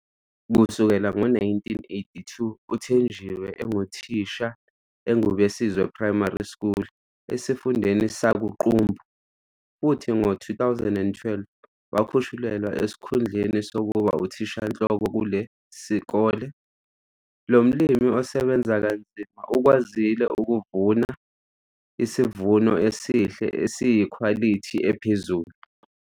Kusukela ngo-1982, uThenjiwe enguthisha eNgubesizwe Primary School esiFundeni sakuQumbu futhi ngo-2012 wekhushulelwa esikhundleni sokuba uthishanhloko kule sikole. Lo mlimi osebenza kanzima ukwazile ukuvuna isivuno esihle esiyikhwalithi ephezulu.